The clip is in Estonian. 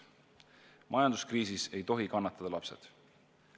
Majanduskriisis ei tohi kannatada lapsed.